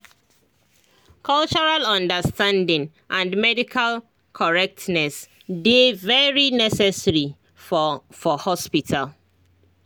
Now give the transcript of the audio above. cultural understanding and medical correctness dey very necessary for for hospital